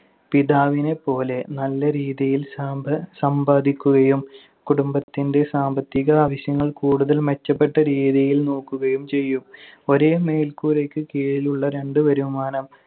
പിതാവിനെപ്പോലെ നല്ല രീതിയിൽ സാമ്പ~ സമ്പാദിക്കുകയും കുടുംബത്തിന്‍റെ സാമ്പത്തിക ആവശ്യങ്ങൾ കൂടുതൽ മെച്ചപ്പെട്ട രീതിയിൽ നോക്കുകയും ചെയ്യും. ഒരേ മേൽക്കൂരയ്ക്ക് കീഴിലുള്ള രണ്ട് വരുമാനം